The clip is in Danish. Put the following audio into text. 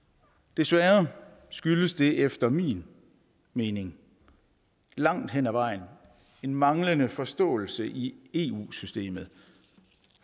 desværre skyldes det efter min mening langt hen ad vejen en manglende forståelse i eu systemet